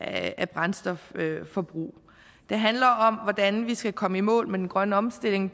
af brændstofforbrug det handler om hvordan vi skal komme i mål med den grønne omstilling